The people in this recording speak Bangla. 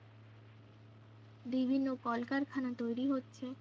বিভিন্ন কলকারখানা তৈরি হচ্ছে